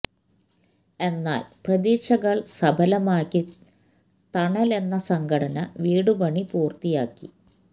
എന്നാല് പ്രതീക്ഷകള് സഫലമാക്കി തണല് എന്ന സംഘടന വീടു പണി പൂര്ത്തിയാക്കി